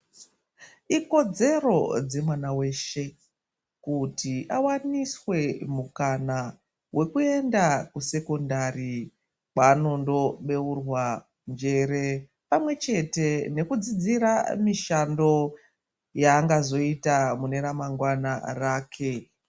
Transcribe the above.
Ikodzero dzemwana weshe, kuti awaniswe mukana wekuenda kuSekondari kwaanondo beurwa njere pamwe chete nekudzidzira mishando yaangazoita mune ramangwana rake.